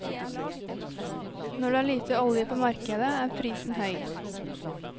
Når det er lite olje på markedet, er prisen høy.